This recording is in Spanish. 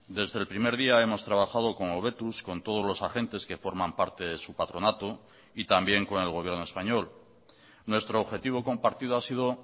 desde el primer día hemos trabajado con hobetuz con todos los agentes que forman parte de su patronato y también con el gobierno español nuestro objetivo compartido ha sido